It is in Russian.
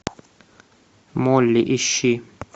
молли ищи